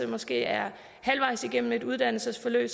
måske er halvvejs igennem et uddannelsesforløb